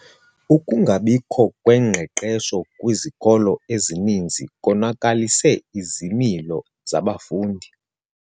Ukungabikho kwengqeqesho kwizikolo ezininzi konakalise izimilo zabafundi.